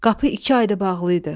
Qapı iki aydır bağlıydı.